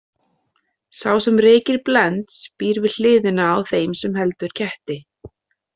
Sá sem reykir Blends býr við hliðina á þeim sem heldur ketti.